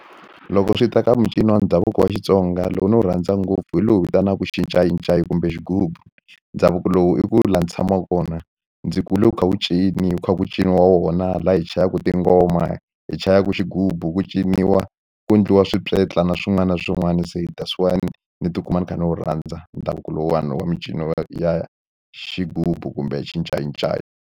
Loko swi ta ka mincino wa ndhavuko wa Xitsonga lowu ni wu rhandza ngopfu hi lowu vitanaka xincayincayi kumbe xigubu ndhavuko lowu i ku la ni tshamaka kona ndzi kule wu kha wu wu kha ku cini wa wona laha hi chayaka tingoma hi chaya ku xigubu ku ciniwa ku endliwa swipyetla na swin'wana na swin'wana se hi that's why ni ni tikuma ni kha ni wu rhandza ndhavuko lowani wa mincino ya xigubu kumbe xincayincayi.